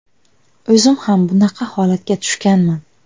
O‘zim ham bunaqa holatga tushganman.